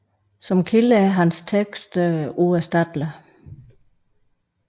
Som kilder er hans tekster uerstattelige